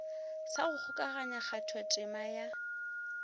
sa go kgokaganya kgathotema ya